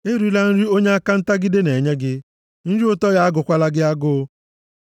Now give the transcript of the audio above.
Erila nri onye aka ntagide na-enye gị. Nri ụtọ ya agụkwala gị agụ.